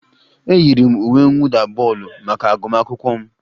E yiri m uwe mwụda bọọlụ maka agụmakwụkwọ m